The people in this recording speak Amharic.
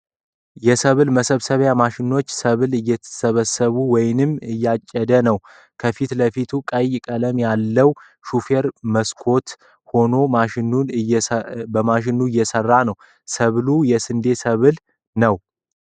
የሰብል መሰብሰቢያ ማሽኑ ሰብል እየሰበሰበ ወይም እያጨደ ነው ። ከፊት ለፊት ቀይ ቀለም አለው ። ሹፌሩ በመስኮቱ ሁኖ ማሽኑን እያሰራው ነው ። ሰብሉ የስንዴ ሰብል ነው ።